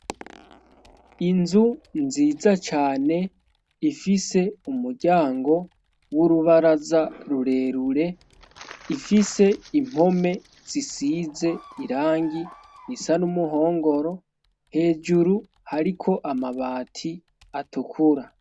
Inzu nziza cane ifise umuryango w'urubaraza rurerure ifise impome zisize irangi ni sa n'umuhongoro hejuru hariko amabati atukura.